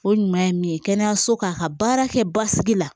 O ɲuman ye min ye kɛnɛyaso k'a ka baara kɛ basigi la